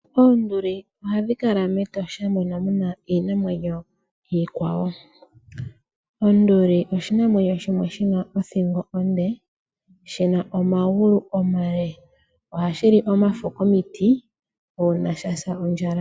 Oonduli ohadhi kala mEtosha mono muna iinamwenyo iikwawo. Onduli oshinamwenyo shimwe shina othingo onde, shina omagulu omale. Ohashi li omafo komiti, uuna shasa ondjala.